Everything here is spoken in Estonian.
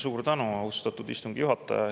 Suur tänu, austatud istungi juhataja!